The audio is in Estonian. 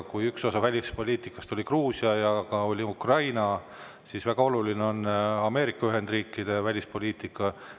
Kuna üks osa välispoliitikast oli Gruusia ja juttu oli ka Ukrainast, siis väga oluline on Ameerika Ühendriikide välispoliitika.